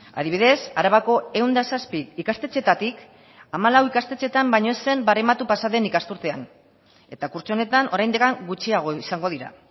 adibidez arabako ehun eta zazpi ikastetxeetatik hamalau ikastetxeetan baino ez zen barematu pasaden ikasturtean eta kurtso honetan oraindik gutxiago izango dira